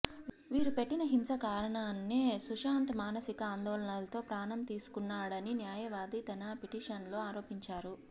వీరు పెట్టిన హింస కారణాంనే సుశాంత్ మానసిక ఆందోళనతో ప్రాణం తీసుకున్నాడని న్యాయవాది తన పిటీషన్లో ఆరోపించారు